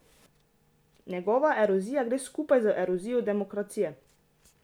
Njegova erozija gre skupaj z erozijo demokracije.